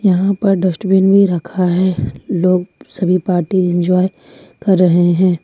यहां पर डस्टबिन भी रखा है लोग सभी पार्टी इंजॉय कर रहे हैं।